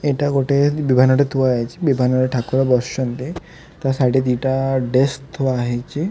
ଏଇଟା ଗୋଟେ ବିମାନଟେ ଥୁଆ ହେଇଛି ବିମାନରେ ଠାକୁର ବସିଛନ୍ତି ତା ସାଇଡି ରେ ଦି ଟା ଡେସ୍କ ଥୁଆ ହେଇଛି।